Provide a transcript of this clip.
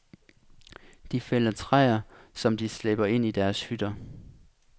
De fælder træer, som de slæber ind i deres hytter.